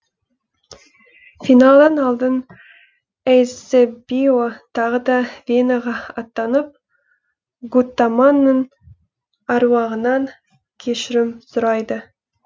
финалан алдын эйсебио тағы да венаға аттанып гуттаманның әруағынан кешірім сұрайды